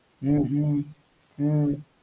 ஹம் ஹம் ஹம்